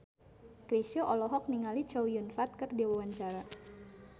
Chrisye olohok ningali Chow Yun Fat keur diwawancara